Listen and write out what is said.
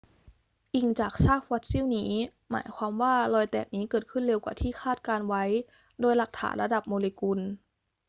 อิงจากซากฟอสซิลนี้ หมายความว่ารอยแตกนี้เกิดขึ้นเร็วกว่าที่คาดการณ์ไว้โดยหลักฐานระดับโมเลกุล